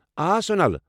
آ، سونل۔